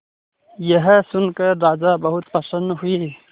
यह सुनकर राजा बहुत प्रसन्न हुए